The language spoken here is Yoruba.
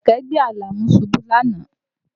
Kẹ̀kẹ́ gbé Àlàmú ṣubú lánàá